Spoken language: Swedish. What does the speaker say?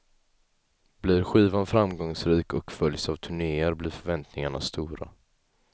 Blir skivan framgångsrik och följs av turnéer blir förväntningarna stora.